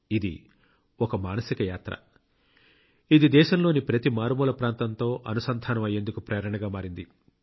ఇది ఒక మానసిక యాత్ర ఇది దేశంలోని ప్రతి మారుమూల ప్రాంతంతో అనుసంధానం అయ్యేందుకు ప్రేరణగా మారింది